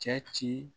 Cɛ ci